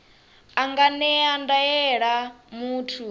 a nga ṅea ndaela muthu